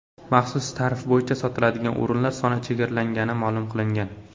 Maxsus tarif bo‘yicha sotiladigan o‘rinlar soni chegaralangani ma’lum qilingan.